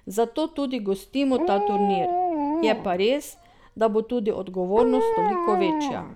Zato tudi gostimo ta turnir, je pa res, da bo tudi odgovornost toliko večja.